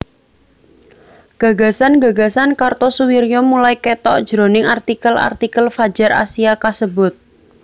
Gagasan gagasan Kartosoewirjo mulai ketok jroning artikel artikel Fadjar Asia kasebut